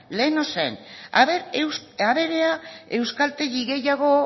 lehen zen a ver ea euskaltegi gehiago